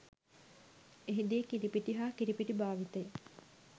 එහි දී කිරිපිටි හා කිරිපිටි භාවිතය